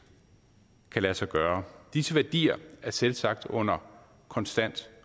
kan lade sig gøre disse værdier er selvsagt under konstant